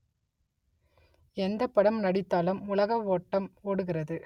எந்தப் படம் நடித்தாலும் உலக ஓட்டம் ஓடுகிறது